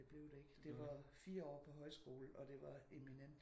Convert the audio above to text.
Men det blev det ikke. Det var 4 år på højskole og det var eminent